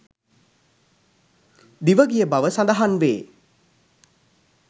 දිවගිය බව සඳහන්වේ.